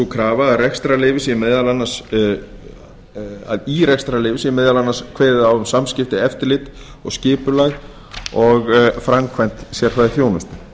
krafa að í rekstrarleyfi sé meðal annars kveðið á um samskipti eftirlit og skipulag og framkvæmd sérfræðiþjónustu